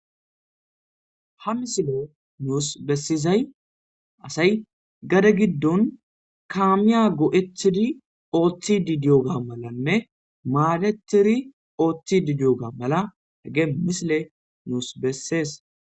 Ha misiley nus besizay asay kamiya go'etidi oothidi diyoga malanne maadetidi oothidi diyoga mala have misiley besses.